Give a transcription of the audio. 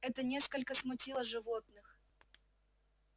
это несколько смутило животных